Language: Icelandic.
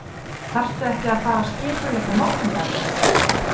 Þarftu ekki að fara að skipuleggja morgundaginn.